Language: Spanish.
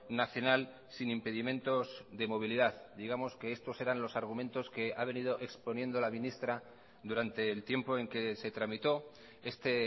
nacional sin impedimentos de movilidad digamos que estos eran los argumentos que ha venido exponiendo la ministra durante el tiempo en que se tramitó este